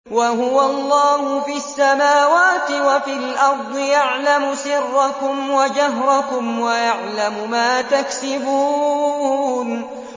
وَهُوَ اللَّهُ فِي السَّمَاوَاتِ وَفِي الْأَرْضِ ۖ يَعْلَمُ سِرَّكُمْ وَجَهْرَكُمْ وَيَعْلَمُ مَا تَكْسِبُونَ